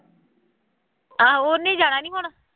ਹਾਂ ਉਹਨੇ ਜਾਣਾ ਨਹੀਂ ਹੁਣ